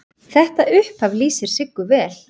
Þetta upphaf lýsir Siggu vel.